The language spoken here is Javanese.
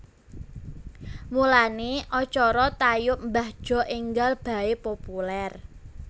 Mulane acara tayub mbah Jo enggal bae populer